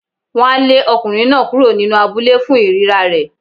Wọ́n á lé ọkùnrin náà kúrò nínú abúlé fún ìríra rẹ̀.